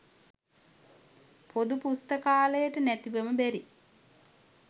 පොදු පුස්තකාලයට නැතිවම බැරි